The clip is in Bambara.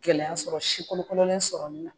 Gɛlɛya sɔrɔ sikolokololen sɔrɔ nin na